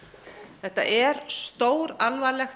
þetta er stóralvarlegt